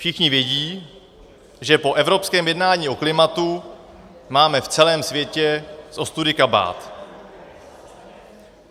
Všichni vědí, že po evropském jednání o klimatu máme v celém světě z ostudy kabát.